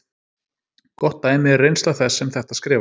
Gott dæmi er reynsla þess sem þetta skrifar.